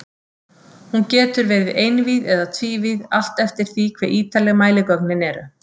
Hún getur verið einvíð eða tvívíð, allt eftir því hve ítarleg mæligögnin eru.